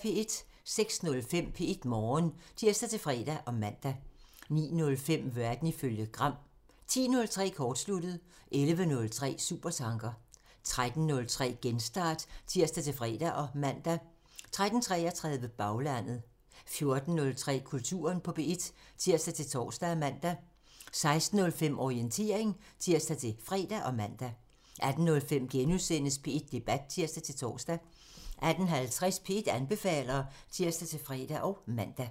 06:05: P1 Morgen (tir-fre og man) 09:05: Verden ifølge Gram (tir) 10:03: Kortsluttet (tir) 11:03: Supertanker (tir) 13:03: Genstart (tir-fre og man) 13:33: Baglandet (tir) 14:03: Kulturen på P1 (tir-tor og man) 16:05: Orientering (tir-fre og man) 18:05: P1 Debat *(tir-tor) 18:50: P1 anbefaler (tir-fre og man)